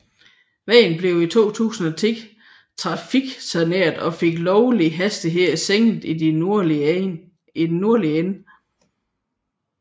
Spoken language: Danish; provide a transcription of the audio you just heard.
Vejen blev i 2010 trafiksaneret og den lovlige hastighed sænket i den nordlige ende